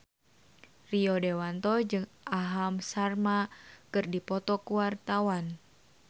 Rio Dewanto jeung Aham Sharma keur dipoto ku wartawan